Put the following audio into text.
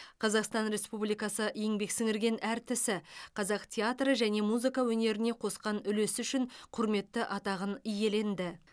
қазақстан республикасы еңбек сіңірген әртісі қазақ театры және музыка өнеріне қосқан үлесі үшін құрметті атағын иеленді